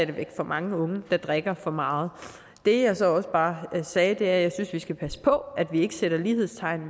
væk for mange unge der drikker for meget det jeg så også bare sagde er at jeg synes vi skal passe på at vi ikke sætter lighedstegn